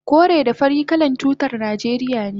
kore da fari kalan tutar najeriya ne